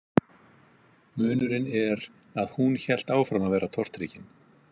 Munurinn er að hún hélt áfram að vera tortryggin.